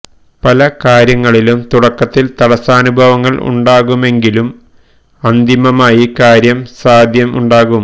പല കാര്യങ്ങളിലും തുടക്കത്തില് തടസ്സാനുഭവങ്ങള് ഉണ്ടാകുമെങ്കിലും അന്തിമമായി കാര്യ സാധ്യം ഉണ്ടാകും